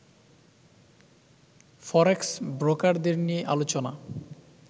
ফরেক্স ব্রোকারদের নিয়ে আলোচনা